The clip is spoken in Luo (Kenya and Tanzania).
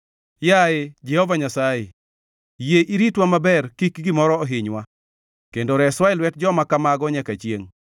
Yaye Jehova Nyasaye, yie iritwa maber kik gimoro ohinywa kendo reswa e lwet joma kamago nyaka chiengʼ.